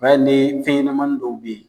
O y'a ye ni fɛnɲanamanin dɔw bɛ ye.